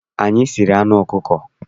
Anyị siri anụ ọkụkọ.